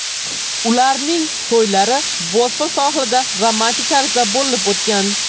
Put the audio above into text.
Ularning to‘ylari Bosfor sohilida romantik tarzda bo‘lib o‘tgan.